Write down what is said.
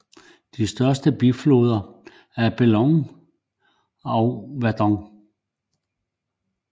De største bifloder er Bléone og Verdon